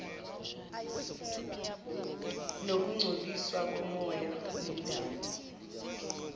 nokungcoliswa komoya nendalo